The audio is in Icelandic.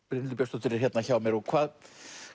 Brynhildur Björnsdóttir er hérna hjá mér hvað